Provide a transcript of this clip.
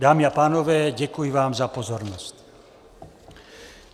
Dámy a pánové, děkuji vám za pozornost.